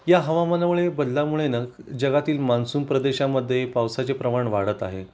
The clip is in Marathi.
या हवामान बदलामुळे ना जगातील मान्सून प्रदेशामध्ये पावसाचे प्रमाण वाढत आहे